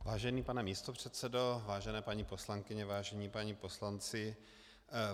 Vážený pane místopředsedo, vážené paní poslankyně, vážení páni poslanci.